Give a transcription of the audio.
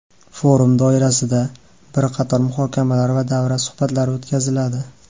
Forum doirasida bir qator muhokamalar va davra suhbatlari o‘tkaziladi.